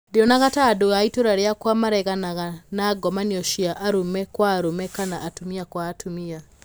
'Ndionaga ta andũ a itũũra rĩakwa mareganaga na ngomanio cia arũme kwa arũme kana atumia kwa atumia.